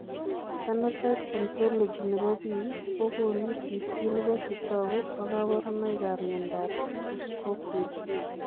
Phenotype ontology nebo biik kokoonu listini bo chetogu ak kaborunoik ab miondab Kuskokwim